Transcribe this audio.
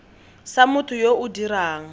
sa motho yo o dirang